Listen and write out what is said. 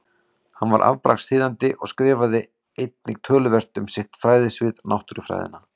Hann var afbragðs þýðandi og skrifaði einnig töluvert um sitt fræðasvið, náttúrufræðina.